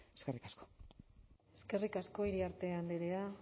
eskerrik asko eskerrik asko iriarte andrea